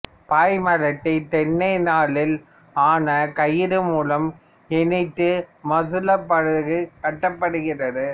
பாய்மரத்தை தென்னை நாரால் ஆன கயிறு மூலம் இணைத்து மசுலா படகு கட்டப்படுகிறது